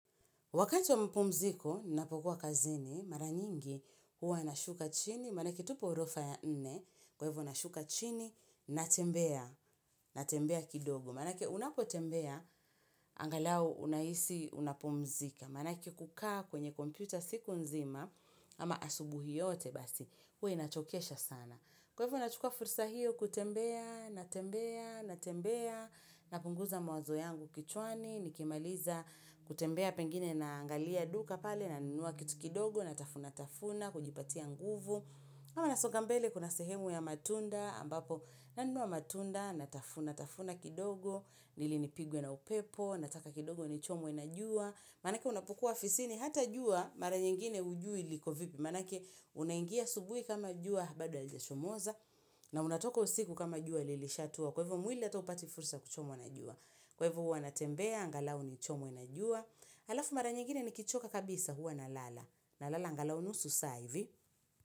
Wakati wa mpumziko, nina pokuwa kazini, mara nyingi huwa nashuka chini, mara ketupo orofa ya nne, kwa hivyo nashuka chini, natembea, natembea kidogo. Mana ke unapotembea, angalau unahisi unapumzika. Mana ke kukaa kwenye kompyuta siku nzima, ama asubuhi yote basi, huwa inachokesha sana. Kwa hivo nachukua fursa hiyo kutembea, natembea, natembea, napunguza mawazo yangu kichwani, nikimaliza kutembea pengine na angalia duka pale, nanua kitu kidogo, natafunatafuna, kujipatia nguvu. Ama nasonga mbele kuna sehemu ya matunda ambapo, nanua matunda, natafuna, natafuna kidogo ili nipigwe na upepo, nataka kidogo ni chomwe najua Manake unapokua afisini, hata jua, mara nyingine hujui likovipi Manake unaingia asubuhi kama jua, bado halijachomoza na unatoka usiku kama jua, ililishatua Kwa hivo mwili hata hupati fursa ya kuchomwa najua Kwa hivo hua natembea, angalau ni chomwe najua Alafu mara nyingine ni kichoka kabisa hua na lala na lala angalao nusu saa hivi.